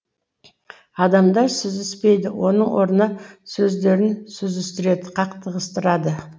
адамдар сүзіспейді оның орнына сөздерін сүзістіреді қақтығыстырады